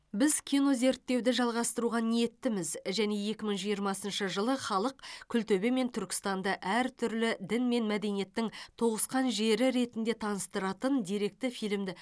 біз кинозерттеуді жалғастыруға ниеттіміз және екі мың жиырмасыншы жылы халық күлтөбе мен түркістанды әртүрлі дін мен мәдениеттің тоғысқан жері ретінде таныстыратын деректі фильмді